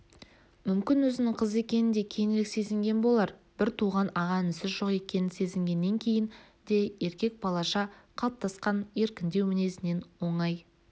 мүмкін өзінің қыз екенін де кейінірек сезінген болар бір туған аға інісі жоқ қыз екенін сезінгеннен кейін де еркек балаша қалыптасқан еркіндеу мінезінен оңай